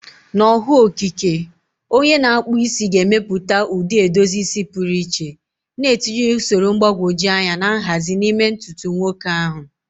Na ọhụụ okike, onye na-akpụ isi ga-emepụta ụdị edozi isi pụrụ iche, na-etinye usoro mgbagwoju anya na nhazi n'ime ntutu nwoke ahụ.